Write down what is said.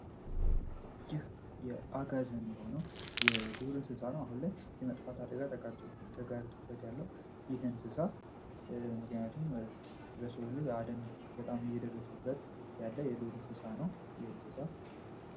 ይህ የአጋዝን የሆነዉ የዱር እንስሳ ነዉ። አሁን ላይ የመጥፋት አደጋ ተጋርጦበት ያለዉ ይህ እንስሳ ምክንያቱም የሰዉ ልጅ አደን በጣም አሰየደረሰበት ያለዉ የዱር እንስሳ ነዉ። ይህ እንስሳ